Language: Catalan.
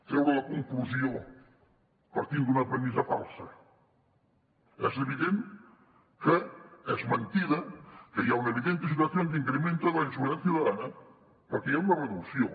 treure la conclusió partint d’una premissa falsa és evident que és mentida que hi ha una evidente situación de incremento de la inseguridad ciudadana perquè hi ha una reducció